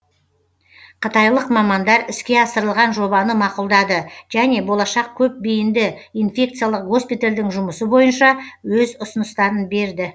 қытайлық мамандар іске асырылған жобаны мақұлдады және болашақ көпбейінді инфекциялық госпитальдің жұмысы бойынша өз ұсыныстарын берді